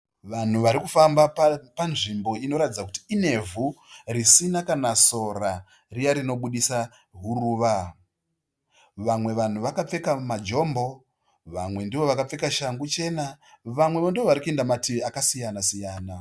Vanhu vari kufamba panzvimbo inoratidza kuti inevhu risina kana sora riya rinobudisa huruva. Vamwe vanhu vakapfeka majombo vamwe ndovakapfeka shangu chena. Vamwevo ndovari kuenda mativi akasiyana siyana.